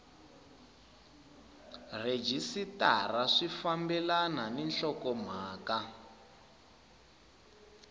rhejisitara swi fambelani ni nhlokomhaka